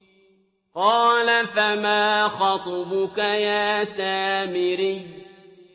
قَالَ فَمَا خَطْبُكَ يَا سَامِرِيُّ